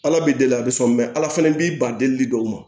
Ala b'i deli a bɛ sɔn ala fɛnɛ b'i ban delili dɔw ma